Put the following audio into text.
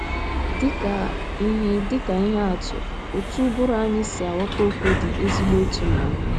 Dị ka ihe Dị ka ihe atụ, otú ụbụrụ anyị si aghọta okwu dị ezigbo ịtụnanya.